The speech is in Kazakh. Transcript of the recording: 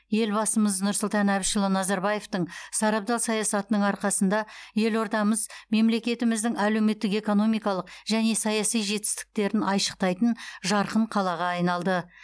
елбасымыз нұрсұлтан әбішұлы назарбаевтың сарабдал саясатының арқасында елордамыз мемлекетіміздің әлеуметтік экономикалық және саяси жетістіктерін айшықтайтын жарқын қалаға айналды